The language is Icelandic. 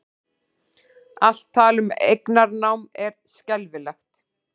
Allt tal um eignarnám er skelfilegt